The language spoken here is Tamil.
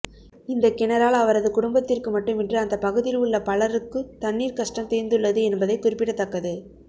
இந்த கிணறால் அவரது குடும்பத்திற்கு மட்டுமின்றி அந்த பகுதியில் உள்ள பலருக்கு தண்ணீர் கஷ்டம் தீர்ந்துள்ளது என்பது குறிப்பிடத்தக்கது